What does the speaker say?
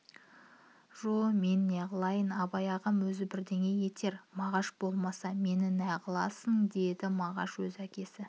жо мен неғылайын абай ағам өзі бірдеңе етер мағаш болмаса мені неғыласын деді мағаш өз әкесі